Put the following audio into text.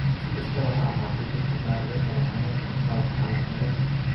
Si kastaba ha ahaatee, dadka qaar ee qaba xanuunkaan ma laha calaamado.